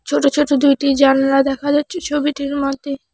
ছোট ছোট দুইটি জানলা দেখা যাচ্ছে ছবিটির মধ্যে।